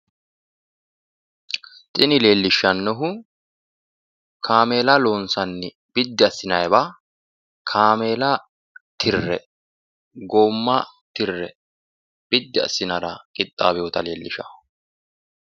Tini leellishshannohu kaameela loonssanni biddi assinanniwa, kaameela tirre goomma tirre biddi assinannira qixxaawinota leellishshanno.